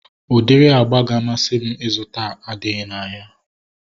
Udiri agba ụlọ ga-amasị m ịzụta adịghị n'ahịa